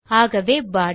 ஆகவே பாடி